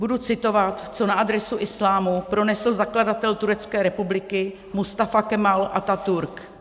Budu citovat, co na adresu islámu pronesl zakladatel Turecké republiky Mustafa Kemal Atatürk.